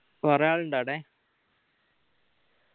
കൊറേ ആൾ ഇണ്ടാ ആടെ